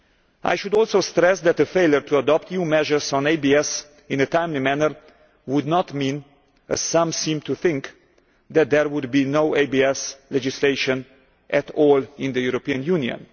I should also stress that a failure to adopt EU measures on ABS in a timely manner would not mean, as some seem to think, that there would be no ABS legislation at all in the European Union.